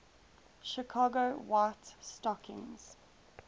chicago white stockings